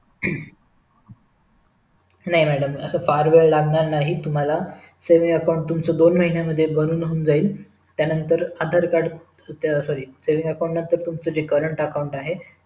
नाही madm असं फार वेळ लागणार नाही तुम्हाला saving account तुमच दोन दिवसांमध्ये बनून होऊन जाईल त्यांनतर Aadhaar card sorry saving account नंतर तुम्हच जे current account आहे